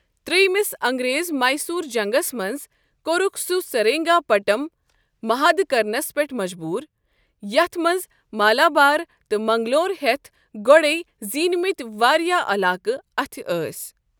ترٛیٚیمِس انگریز میٚسوٗر جنٛگس منٛز، کوٛرُکھ سہ سِرینٛگاپَٹم محادٕ كرنس پٮ۪ٹھ مَجبوٗر، یتھ منٛز مالابار تہٕ منٛگلور ہیتھ گۄڈے زیٖنِمٕتۍ واریاہ عٔلاقہٕ اَتھہٕ ٲسۍ۔